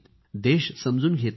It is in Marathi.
देश समजून घेत नाहीत